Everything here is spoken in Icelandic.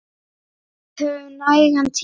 Við höfum nægan tíma.